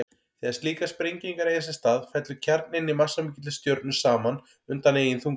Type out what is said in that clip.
Þegar slíkar sprengingar eiga sér stað fellur kjarninn í massamikilli stjörnu saman undan eigin þunga.